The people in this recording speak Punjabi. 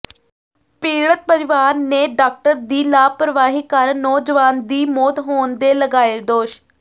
ਪੀੜਤ ਪਰਿਵਾਰ ਨੇ ਡਾਕਟਰ ਦੀ ਲਾਪ੍ਰਵਾਹੀ ਕਾਰਨ ਨੌਜਵਾਨ ਦੀ ਮੌਤ ਹੋਣ ਦੇ ਲਗਾਏ ਦੋਸ਼